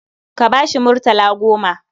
Ka ba shi murtala goma.